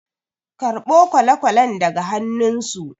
karɓo kwale-kwalen daga annunsu